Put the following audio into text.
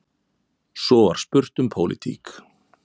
Svo var spurt um pólitík.